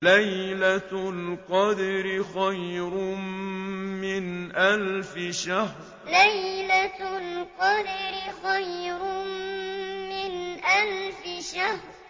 لَيْلَةُ الْقَدْرِ خَيْرٌ مِّنْ أَلْفِ شَهْرٍ لَيْلَةُ الْقَدْرِ خَيْرٌ مِّنْ أَلْفِ شَهْرٍ